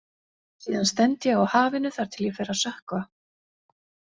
Síðan stend ég á hafinu þar til ég fer að sökkva.